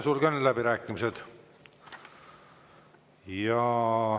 Sulgen läbirääkimised.